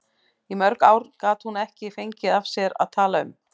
Í mörg ár gat hún ekki fengið af sér að tala um